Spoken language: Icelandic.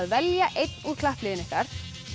velja einn úr klappliðinu ykkar